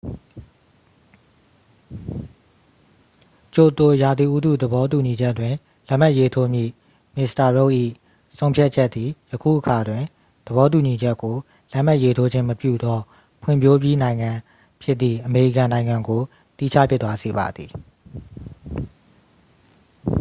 ကျိုတို ရာသီဥတုသဘောတူညီချက်တွင် လက်မှတ်ရေးထိုးမည့်မစ္စတာရုတ်ဒ် ၏ဆုံးဖြတ်ချက်သည် ယခုအခါတွင် သဘောတူညီချက်ကို လက်မှတ်ရေးထိုးခြင်းမပြုသော ဖွံ့ဖြိုးပြီးနိုင်ငံဖြစ်သည့် အမေရိကန်နိုင်ငံကို သီးခြားဖြစ်သွားစေပါသည်